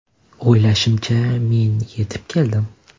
O‘ylashimcha, men yetib keldim.